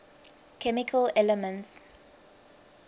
chemical elements